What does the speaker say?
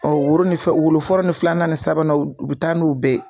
woro ni fɛ wolo fɔlɔ ni filanan ni sabanan u bɛ taa n'o bɛɛ ye.